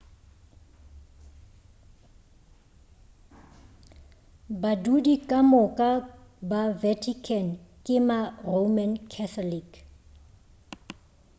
badudi ka moka ba vatican ke ma-roman catholic